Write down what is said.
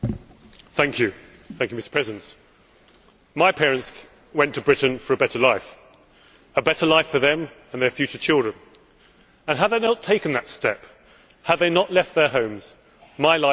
Mr President, my parents went to Britain for a better life a better life for them and their future children and had they not taken that step, had they not left their homes, my life would be very different.